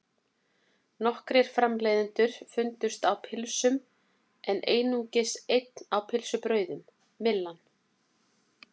Nokkrir framleiðendur fundust á pylsum en einungis einn á pylsubrauðum, Myllan.